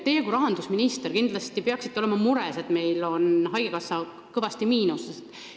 Teie kui rahandusminister peaksite kindlasti olema mures selle pärast, et haigekassa eelarve on kõvasti miinuses.